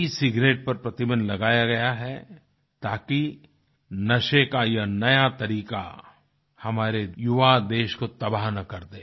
ई cigarette पर प्रतिबन्ध लगाया गया है ताकि नशे का यह नया तरीका हमारे युवा देश को तबाह न कर दे